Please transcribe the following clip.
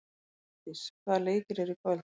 Álfdís, hvaða leikir eru í kvöld?